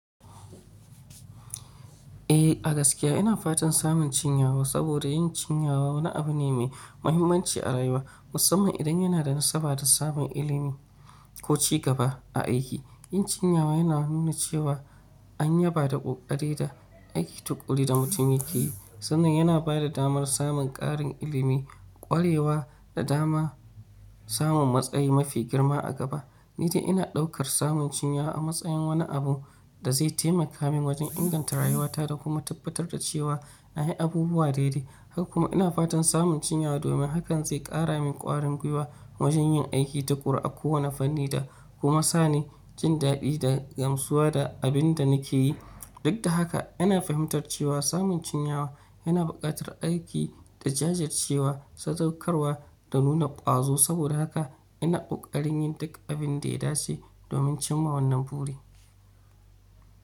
Eh, a gaskiya ina fatan samun cinyawa saboda yin cinyawa wani abu ne mai muhimmanci a rayuwa musamman idan yana da nasaba da samun ilimi ko ci gaba a aiki. Yin cinyawa yana nuna cewa an yaba da ƙoƙari da aiki tuƙuru da mutum yake yi sannan yana ba da damar samun ƙarin ilimi, ƙwarewa da dama samun matsayi mafi girma a gaba. Ni dai ina ɗaukar samun cinyawa a matsayin wani abu da zai taimaka min wajen inganta rayuwata da kuma tabbatar da cewa na yi abubuwa daidai. Har kuma ina fatan samun cinyawa domin hakan zai ƙara min ƙwarin gwiwa wajen yin aiki tuƙuru a kowane fanni da kuma sani jin daɗi da gamsuwa da abin da nake yi. Duk ta haka, ana fahimtar cewa samun cinyawa yana buƙatar aiki da jajircewa, sadaukarwa da nuna ƙwazo. Saboda haka ina ƙoƙarin yin duk abun da ya dace domin cimma wannan buri.